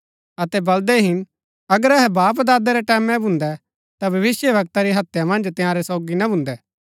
अतै बलदै हिन अगर अहै बापदादे रै टैमैं भून्दै ता भविष्‍यवक्ता री हत्या मन्ज तंयारै सोगी ना भून्दै